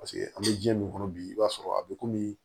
Paseke an bɛ ji min kɔnɔ bi i b'a sɔrɔ a bɛ komi